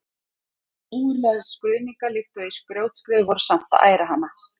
En ógurlegar skruðningar líkt og í grjótskriðu voru samt að æra hana.